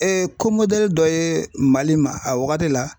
ko dɔ ye Mali ma a wagati la.